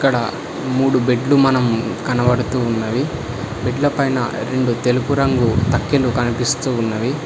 మూడు బెడ్లు మనం కనబడుతూ ఉన్నది బెడ్ల పైన రెండు తెలుపు రంగు తక్కిలు కనిపిస్తూ ఉన్నది.